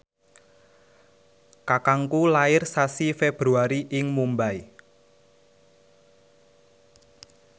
kakangku lair sasi Februari ing Mumbai